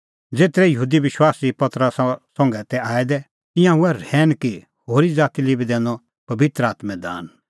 ज़ेतरै यहूदी विश्वासी पतरसा संघै तै आऐ दै तिंयां हुऐ रहैन कि होरी ज़ाती लै बी दैनअ पबित्र आत्मों दान